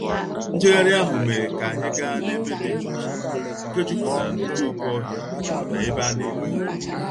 Njegharị ahụ mere ka anyị gaa n'ebe dị jụụ nke jupụtara n'okooko ohịa na ebe a na-ele ugwu.